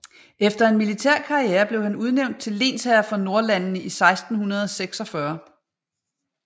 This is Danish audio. Efter en militær karrière blev han udnævnt til lensherre for Nordlandene i 1646